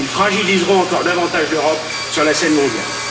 ils fragiliseront encore davantage l'Europe sur la scène mondiale.